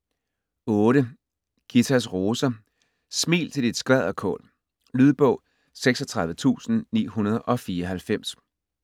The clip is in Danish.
Ghitas roser: smil til dit skvalderkål Lydbog 36994